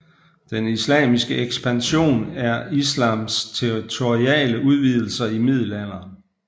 Den islamiske ekspansion er islams territoriale udvidelser i middelalderen